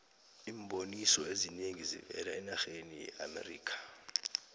iimboniso ezinengi zivela enarheni yeamerikha